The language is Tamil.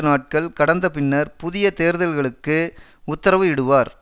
நாட்கள் கடந்தபின்னர் புதிய தேர்தல்களுக்கு உத்தரவு இடுவார்